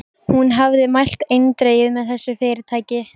Hún hafði mælt eindregið með þessu fyrirtæki.